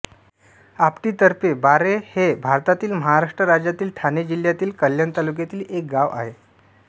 आपटी तर्फे बाऱ्हे हे भारतातील महाराष्ट्र राज्यातील ठाणे जिल्ह्यातील कल्याण तालुक्यातील एक गाव आहे